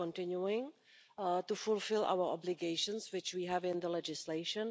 it. We are continuing to fulfil our obligations, which we have in legislation.